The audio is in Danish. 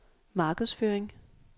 markedsføring